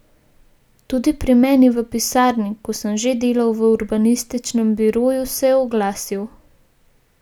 Tudi pri meni v pisarni, ko sem že delal v urbanističnem biroju, se je oglasil.